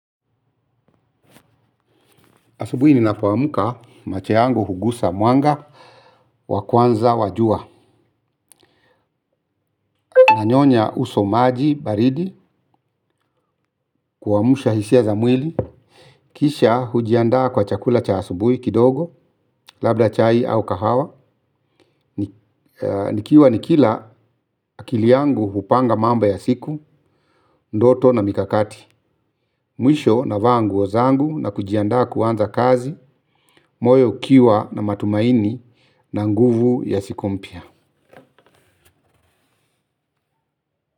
Asubuhi ninapoamka macho yangu hugusa mwanga wakwanza wajua. Na nyonya uso maji baridi kuamusha hisia za mwili. Kisha hujiandaa kwa chakula cha asubui kidogo labda chai au kahawa. Nikiwa nikila akili yangu hupanga mambo ya siku ndoto na mikakati. Mwisho na vaa nguo zangu na kujiandaa kuanza kazi. Moyo ukiwa na matumaini na nguvu ya siku mpya.